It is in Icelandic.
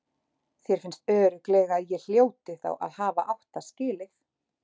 Þér finnst örugglega að ég hljóti þá að hafa átt það skilið.